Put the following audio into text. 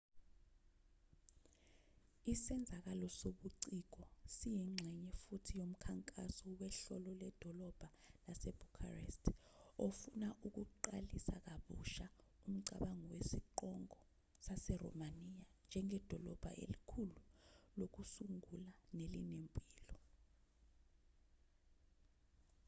isenzakalo sobuciko siyingxenye futhi yomkhankaso wehhlolo ledolobha lasebucharest ofuna ukuqalisa kabusha umcabango wesiqongo saseromaniya njengedolobha elikhulu lokusungula nelinempilo